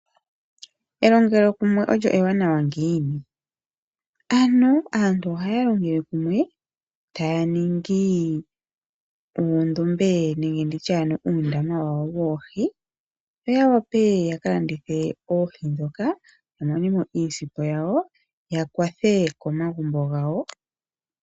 Elongelo kumwe ewanawa ngiini? Aantu ohaya longele kumwe taya ningi uundombe nenge uundama wawo woohi, opo ya wape ya ka landithe oohi ndhoka ya mone mo iisimpo ya kwathe omagumbo gawo.